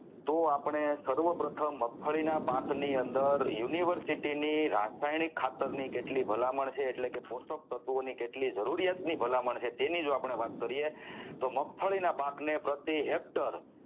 તો આપણે સર્વ પ્રથમ મગફળીના પાક ની અંદર University ની રાસાયણિક ખાતર ની કેટલી ભલામણ છે એટલે કે પોષક તત્વો ની કેટલી જરૂરિયાતની ભલામણ છે તેની જો આપણે વાત કરીએ તો મગફળીના પાકને પ્રત્યે હેક્ટર